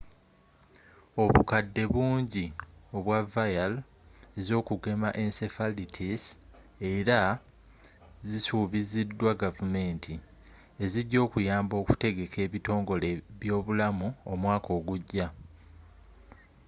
obukadde bungi obwa vial ez'okugema encephalitis era zisubiziddwa gavumenti ezijja okuyamba okutegeka ebitongole byobulamu omwaka ogujja